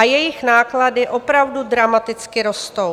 A jejich náklady opravdu dramaticky rostou.